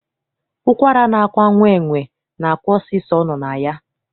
Ụkwara na-akwa nwa enwe, na-akwa osisi ọ nọ na ya.